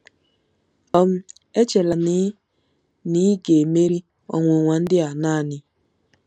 um Echela na ị na ị ga-emeri ọnwụnwa ndị a naanị.